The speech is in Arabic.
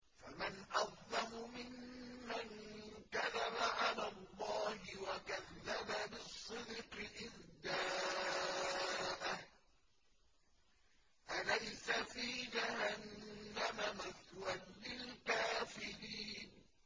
۞ فَمَنْ أَظْلَمُ مِمَّن كَذَبَ عَلَى اللَّهِ وَكَذَّبَ بِالصِّدْقِ إِذْ جَاءَهُ ۚ أَلَيْسَ فِي جَهَنَّمَ مَثْوًى لِّلْكَافِرِينَ